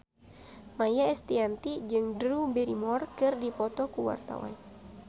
Maia Estianty jeung Drew Barrymore keur dipoto ku wartawan